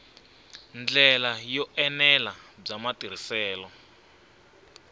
ndlela yo enela bya matirhiselo